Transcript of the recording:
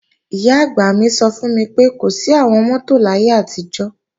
Ìyá-àgbà mi sọ fún mi pé, kò sí àwọn mọ́tò láyé àtijọ́